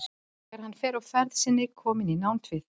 En þegar hann var á ferð sinni kominn í nánd við